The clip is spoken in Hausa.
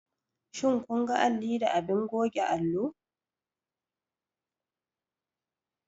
Shin kun ga alli da abin goge allo?